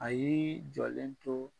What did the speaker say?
A y'i jɔlen to